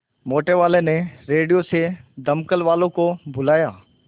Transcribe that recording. मोटेवाले ने रेडियो से दमकल वालों को बुलाया